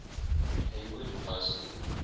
hayward high school